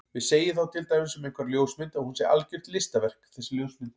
Við segjum þá til dæmis um einhverja ljósmynd að hún sé algjört listaverk þessi ljósmynd.